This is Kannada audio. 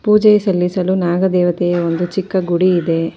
ಪೂಜೆ ಸಲ್ಲಿಸಲು ನಾಗದೆವತೆಯ ಒಂದು ಚಿಕ್ಕ ಗುಡಿ ಇದೆ.